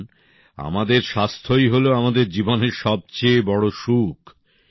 দেখুন আমাদের স্বাস্থ্যই হল আমাদের জীবনের সবচেয়ে বড় সুখ